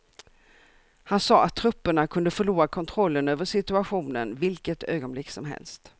Han sade att trupperna kunde förlora kontrollen över situationen vilket ögonblick som helst.